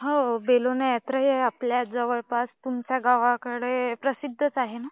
हो बेलोन यात्रेआपल्या जवळपास कुमठा गावाकडे प्रसिद्धच आहे ना?